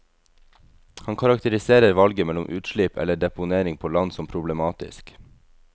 Han karakteriserer valget mellom utslipp eller deponering på land som problematisk.